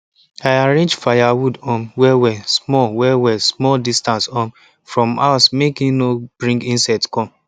i arrange firewood um wellwell small wellwell small distance um from house make e no bring insects come